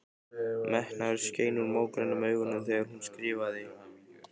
Metnaður skein úr mógrænum augunum þegar hún skrifaði.